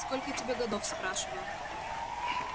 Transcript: сколько тебе годов спрашиваю